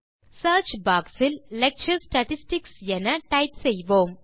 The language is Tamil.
சியர்ச் பாக்ஸ் இல் லெக்சர் ஸ்டாட்டிஸ்டிக்ஸ் என enter செய்வோம்